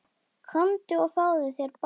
Komdu og fáðu þér bollur.